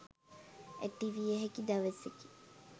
ඇතිවිය හැකි දවසකි.